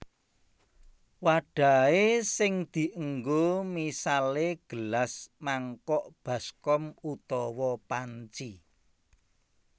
Wadahe sing dienggo misale gelas mangkok baskom utawa panci